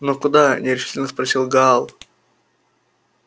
но куда нерешительно спросил гаал